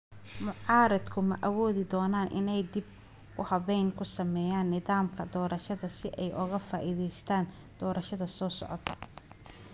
Mucaaradku ma awoodi doonaan inay dib u habeyn ku sameeyaan nidaamka doorashada si ay uga faa'iideystaan ​​doorashada soo socota?